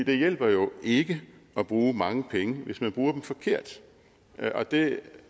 det hjælper jo ikke at bruge mange penge hvis man bruger dem forkert og det